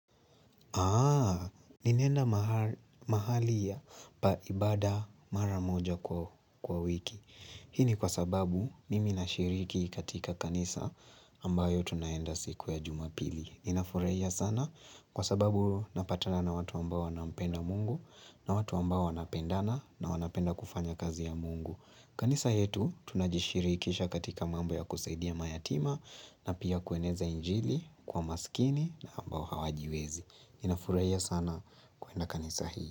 Aaaa, ninaenda mahali ya pa ibada mara moja kwa wiki Hini kwa sababu mimi na shiriki katika kanisa ambayo tunaenda siku ya jumapili Ninafurahia sana kwa sababu napatana na watu ambao wanampenda mungu na watu ambao wanapendana na wanapenda kufanya kazi ya mungu kanisa yetu tunajishirikisha katika mambo ya kusaidia mayatima na pia kueneza injili kwa masikini na ambao hawajiwezi ninafurahia sana kuenda kanisa hii.